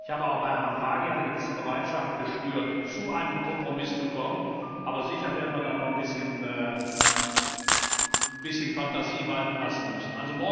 Ich habe auch bei Herrn Draghi eine gewisse Bereitschaft gespürt, zu einem Kompromiss zu kommen, aber sicher werden wir da noch ein bisschen Fantasie walten lassen müssen.